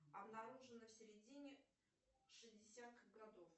обнаружена в середине шестидесятых годов